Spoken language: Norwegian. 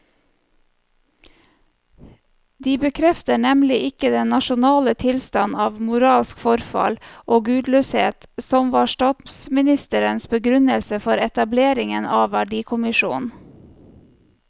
De bekrefter nemlig ikke den nasjonale tilstand av moralsk forfall og gudløshet som var statsministerens begrunnelse for etableringen av verdikommisjonen.